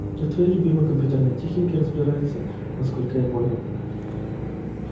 и в твоей любимой компьютерной технике разбирается насколько я понял